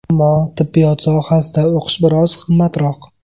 Ammo tibbiyot sohasida o‘qish biroz qimmatroq.